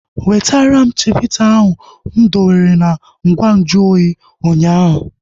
Wetara m chivita ahu mụ dowere na ngwa nju oyi ụnyaahụ!